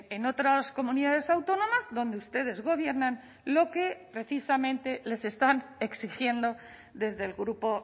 en otras comunidades autónomas donde ustedes gobiernan lo que precisamente les están exigiendo desde el grupo